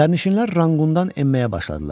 Sərnişinlər Ranqqundan enməyə başladılar.